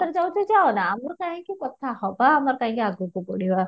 ଯାଉଛି ଯଉ ନା ଆମର କାହିଁକି କଥା ହେବା ଆମର କାହିଁକି ଆଗକୁ ବଢିବା